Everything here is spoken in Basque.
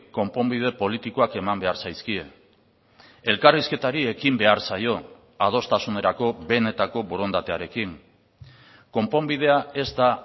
konponbide politikoak eman behar zaizkie elkarrizketari ekin behar zaio adostasunerako benetako borondatearekin konponbidea ez da